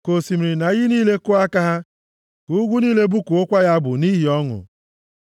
Ka osimiri na iyi niile kụọ aka ha, ka ugwu niile bụkuokwa ya abụ nʼihi ọṅụ;